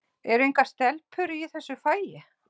Eru engar stelpur í þessu fagi?